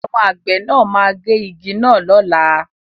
Àwọn àgbẹ̀ náà máa gé igi náà lọ́la.